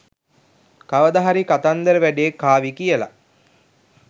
කවද හරි කතන්දර වැඩේ කාවි කියලා